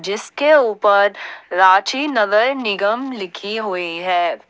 जिसके ऊपर रांची नगर निगम लिखी हुई है।